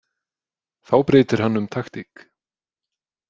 Þá breytir hann um taktík.